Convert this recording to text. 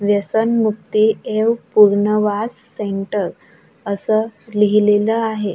व्यसनमुक्ती एव पूर्णवास सेंटर असं लिहिलेलं आहे.